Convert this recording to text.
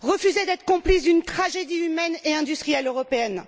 Refuser d'être complice d'une tragédie humaine et industrielle européenne.